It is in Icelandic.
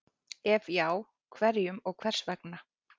Ef já, hverjum og hvers vegna?